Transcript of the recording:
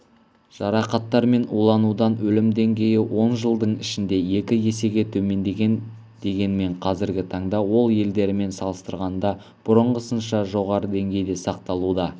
жарақаттар мен уланудан өлім деңгейі он жылдың ішінде екі есеге төмендеген дегенмен қазіргі таңда ол елдерімен салыстырғанда бұрынғысынша жоғары деңгейде сақталуда